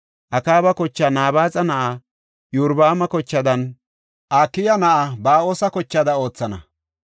Akaaba kochaa Nabaaxa na7aa Iyorbaama kochaadanne Akiya na7aa Ba7oosa kochaada oothana.